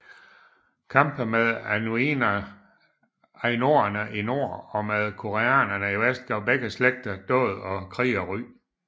Kampe med ainoerne i nord og med koreanerne i vest gav begge slægter dåd og krigerry